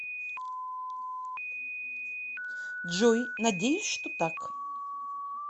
джой надеюсь что так